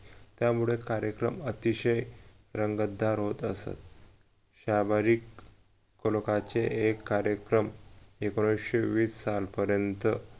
त्यामुळे कार्यक्रम अतिशय रंगतदार होत असत शंभरीक एक कार्यक्रम एकोणविशे वीस सालपर्यँत